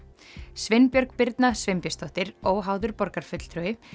Sveinbjörg Birna Sveinbjörnsdóttir óháður borgarfulltrúi